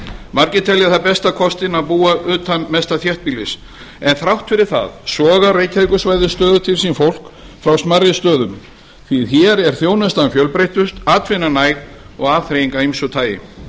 margir telja það besta kostinn að búa utan mesta þéttbýlis en þrátt fyrir það sogar reykjavíkursvæðið stöðugt til sín fólk frá smærri stöðum því hér er þjónustan fjölbreyttust atvinnan næg og atvinna af ýmsu tagi